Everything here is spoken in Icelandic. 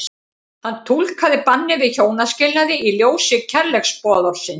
Hann túlkaði bannið við hjónaskilnaði í ljósi kærleiksboðorðsins.